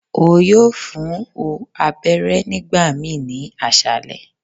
O yoo fun u abẹrẹ nigbamii ni aṣalẹ